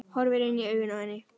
Horfir inn í augun á henni.